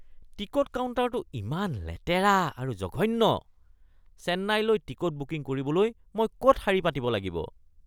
Ticket কাউণ্টাৰটো ইমান লেতেৰা আৰু জঘন্য। চেন্নাইলৈ টিকট বুকিং কৰিবলৈ মই ক'ত শাৰী পাতিব লাগিব?